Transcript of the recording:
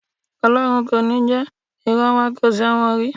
Ọlọ́run kò ní jẹ, ìran wa ò ṣẹ̀wọ̀n rí